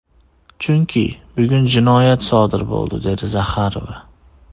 Chunki bugun jinoyat sodir bo‘ldi”, dedi Zaxarova.